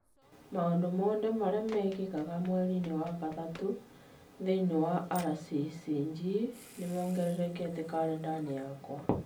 Maũndũ mothe marĩa mekĩkaga mweriinĩ wa gatatũ thĩinĩ wa RCCG nĩ mongererekete karenda-inĩ gakwa